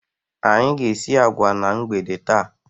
Anyị ga-esi agwa na mgbede taa.